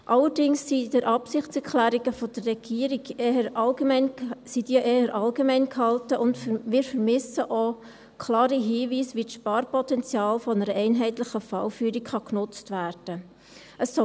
Allerdings sind die Absichtserklärungen der Regierung eher allgemein gehalten, und wir vermissen auch klare Hinweise, wie das Sparpotenzial einer einheitlichen Fallführung genutzt werden kann.